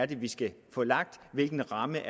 det er vi skal få lagt hvilken ramme